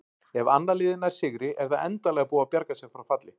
Ef annað liðið nær sigri er það endanlega búið að bjarga sér frá falli.